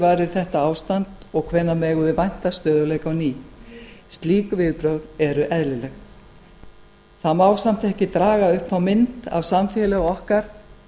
varir þetta ástand og hvenær megum við vænta stöðugleika á ný slík viðbrögð eru eðlilegt það má samt ekki draga upp þá mynd af samfélagi okkar